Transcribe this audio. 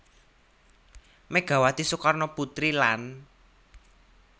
Megawati Soekarnoputri lan